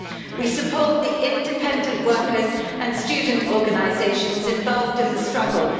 We support independent workers' and students' organisations involved in the struggle.